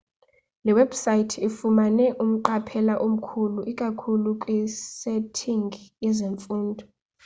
le webhusaythi ifumane umqaphela omkhulu ikakhulu kwisetingi yezemfundo